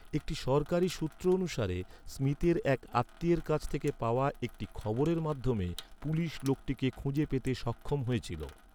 একটি সরকারী সূত্র অনুসারে, স্মিথের এক আত্মীয়ের কাছ থেকে পাওয়া একটি খবরের মাধ্যমে পুলিশ লোকটিকে খুঁজে পেতে সক্ষম হয়েছিল।